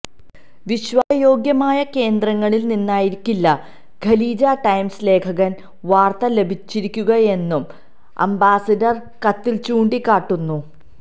വിശ്വായ യോഗ്യമായ കേന്ദ്രങ്ങളിൽനിന്നായിരിക്കില്ല Khaleej Times ലേഖകന് വാർത്ത ലഭിച്ചിരിക്കുകയെന്നും അംബാസിഡർ കത്തിൽ ചൂണ്ടിക്കാട്ടുന്നു